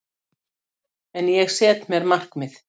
En ég set mér markmið.